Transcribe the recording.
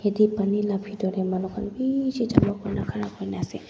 ete pani la pitor te manu khan bishi jama kuri ne khara kuri ne ase.